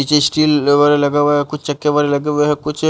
नीचे स्टील लवारा लगा हुआ है कुछ चक्के वारे लगे हुए है कुछ --